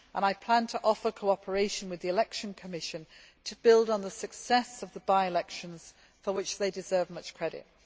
I also plan to offer cooperation with the election commission to build on the success of the by elections, for which it deserves much credit.